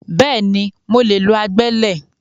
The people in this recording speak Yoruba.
Bẹ́ẹ̀ni, mo lè lo agbẹ́lẹ̀